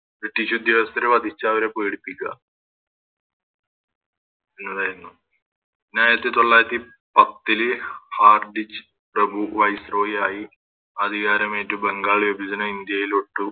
British ഉദ്യോഗസ്ഥരെ വധിച്ച് അവരെ പേടിപ്പിക്ക എന്നതായിന്നു പിന്നായിരത്തീ തൊള്ളായിരത്തി പത്തില് ഹാർഡ്ച്ച് പ്രഭു Viceroy ആയി അധികാരമേറ്റു ബംഗാൾ വിഭജനം ഇന്ത്യയിലോട്ടും